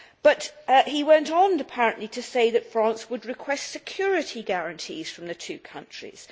But he went on apparently to say that France would request security guarantees from the two countries.